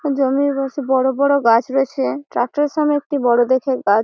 জমি রয়েছে বড় বড় গাছ রয়েছে ট্র্যাক্টর -এর সামনে একটি বড় দেখে গাছ --